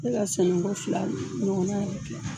Se ka sɛnɛ ko fila ɲɔgɔna yɛrɛ kɛ